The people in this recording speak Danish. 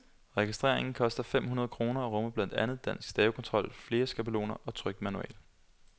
Registrering koster fem hundrede kroner og rummer blandt andet dansk stavekontrol, flere skabeloner og trykt manual.